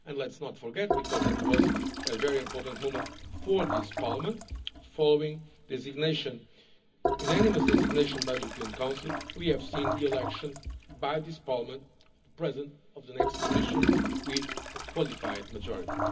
And let us not forget because it was a very important moment for this Parliament, following the unanimous designation by the European Council we have seen the election by this Parliament of the President of the next Commission with a qualified majority.